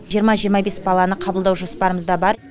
жиырма жиырма бес баланы қабылдау жоспарымызда бар